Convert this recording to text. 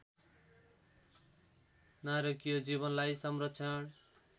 नारकीय जीवनलाई संरक्षण